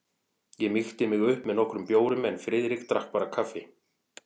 Ég mýkti mig upp með nokkrum bjórum en Friðrik drakk bara kaffi.